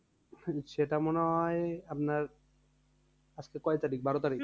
হম সেইটা মনে হয় আপনার আজকে কয় তারিখ? বারো তারিখ